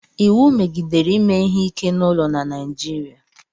iwu megidere ime ihe ike n'ụlọ na Naịjirịa